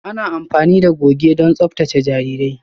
Ana amfani da goge don tsaftace jarirai.